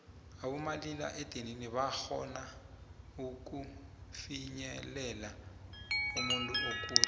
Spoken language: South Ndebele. abomalila edinini barhona ukupinyelela umuntuokude